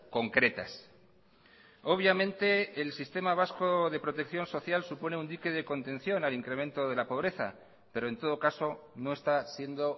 concretas obviamente el sistema vasco de protección social supone un dique de contención al incremento de la pobreza pero en todo caso no está siendo